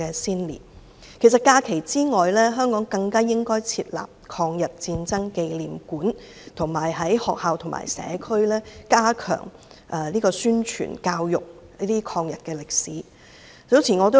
除了列為法定假日外，香港更應設立抗日戰爭紀念館，以及在學校、社區加強抗日歷史的宣傳教育。